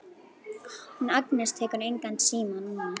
Hún Agnes tekur engan síma núna.